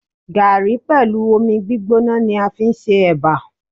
Gààrí pẹ̀lú omi gbígbóná ni a fi ń ṣe Ẹ̀bà.